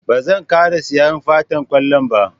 Ba zan ƙara siyan Fantar kwallon ba